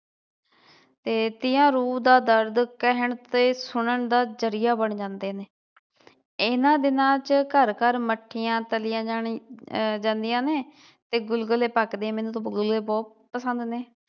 ਤੇ ਤੀਆਂ ਰੂਹ ਦਾ ਦਰਦ ਕਹਿਣ ਤੇ ਸੁਨਣ ਦਾ ਜਰੀਆ ਬਣ ਜਾਂਦੇ ਨੇ ਇਹਨਾਂ ਦਿਨਾਂ ਚ ਘਰ ਘਰ ਮਠੀਆ ਤਲੀਆਂ ਅਹ ਜਾਂਦੀਆਂ ਨੇ ਤੇ ਗੁਲਗਲੇ ਪਕਦੇ ਮੈਨੂੰ ਤਾ ਗੁਲਗਲੇ ਬਹੁਤ ਪਸੰਦ ਨੇ